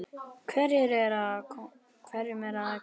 Hverju er um að kenna?